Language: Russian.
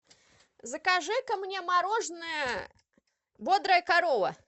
закажи ка мне мороженое бодрая корова